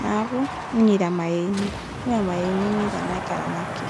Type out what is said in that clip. naaku nenyeita mayeeni naa mayeeni enyeita kuna kera naake.